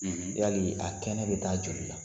Yali a kɛnɛ bɛ taa joli la?